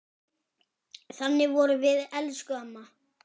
Þannig vorum við, elsku mamma.